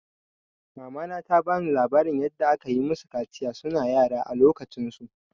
Mamana ta bani labarin yanda akayi musu kaciya suna yara a lokacin su.